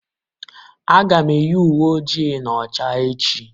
Aga m eyi uwe ojii na ọcha echi.